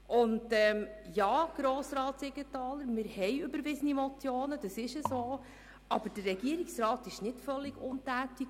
Ja, Grossrat Siegenthaler, es wurden Motionen überwiesen, aber der Regierungsrat blieb nicht völlig untätig.